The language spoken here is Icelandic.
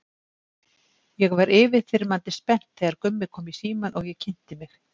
Ég var yfirþyrmandi spennt þegar Gummi kom í símann og ég kynnti mig.